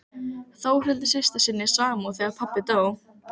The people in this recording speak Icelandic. Þórhildi systur sinni samúð þegar pabbi dó.